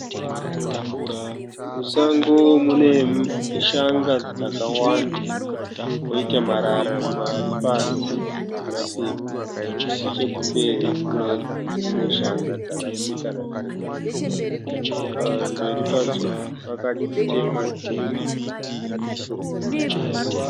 Musango mune shanga dzakawanda kwoita marara ari pasi nemapepa. Nechekumberi kune dzimwe shanga dzakapfekana pfekana. Pamberi padzo pakatemwa dzimwe